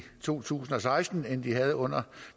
to tusind og seksten end de havde under